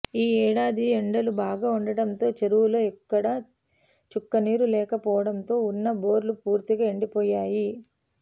ఈ ఏడాది ఎండలు బాగా ఉండడంతో చేరువుల్లో ఎక్కడా చుక్కనీరు లేక పోవడంతో ఉన్న బోర్లు పూర్తిగా ఎండిపోయాయి